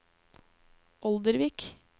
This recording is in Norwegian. Oldervik